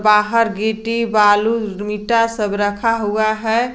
बाहर गिट्टी बालू ईटा सब रखा हुआ है।